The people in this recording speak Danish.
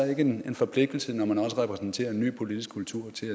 en forpligtelse også når man repræsenterer en ny politisk kultur til